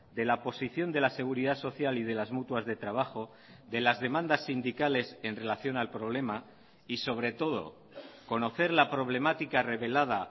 de la posición de la seguridad social y de las mutuas de trabajo de las demandas sindicales en relación al problema y sobre todo conocer la problemática revelada